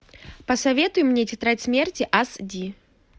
посоветуй мне тетрадь смерти ас ди